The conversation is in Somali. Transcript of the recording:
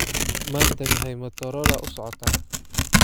Maanta maxay motorola u socotaa?